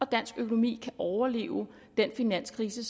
dansk økonomi kan overleve den finanskrise